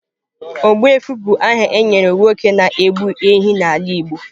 Ogbuefi bụ aha e nyere nwoke na-egbu ehi n’ala igbo.